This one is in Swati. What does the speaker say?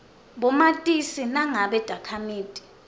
bomatisi nangabe takhamiti